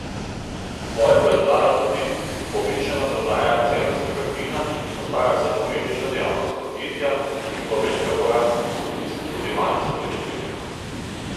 Svoje pa je dodala tudi povečana prodaja zemeljskega plina, ki postaja vse pomembnejša dejavnost podjetja, in pa velika porast gospodinjskih odjemalcev elektrike.